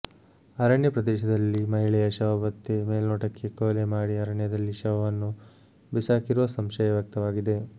ಅರಣ್ಯಪ್ರದೇಶದಲ್ಲಿ ಮಹಿಳೆಯ ಶವ ಪತ್ತೆ ಮೇಲ್ನೋಟಕ್ಕೆ ಕೊಲೆ ಮಾಡಿ ಅರಣ್ಯದಲ್ಲಿ ಶವವನ್ನು ಬಿಸಾಕಿರುವ ಸಂಶಯ ವ್ಯಕ್ತವಾಗಿದೆ